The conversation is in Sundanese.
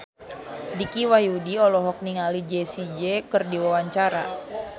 Dicky Wahyudi olohok ningali Jessie J keur diwawancara